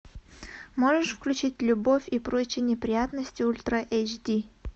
можешь включить любовь и прочие неприятности ультра эйч ди